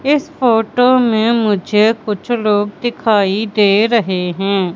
इस फोटो में मुझे कुछ लोग दिखाई दे रहे हैं।